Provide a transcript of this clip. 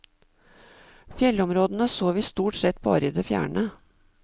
Fjellområdene så vi stort sett bare i det fjerne.